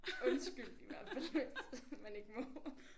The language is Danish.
Undskyld i hvert fald hvis man ikke må